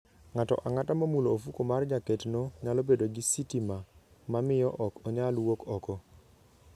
Ng'ato ang'ata momulo ofuko mar jaketno nyalo bedo gi sitima ma miyo ok onyal wuok oko.